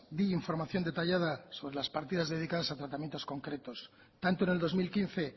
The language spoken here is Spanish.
di información detallada sobre las practicadas dedicadas a tratamientos concretos tanto en el dos mil quince